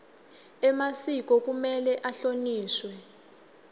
emasiko kumele ahlonishwe